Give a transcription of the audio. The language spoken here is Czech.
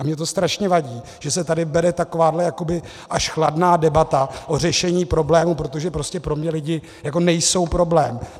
A mně to strašně vadí, že se tady vede takováhle jakoby až chladná debata o řešení problému, protože prostě pro mě lidi jako nejsou problém.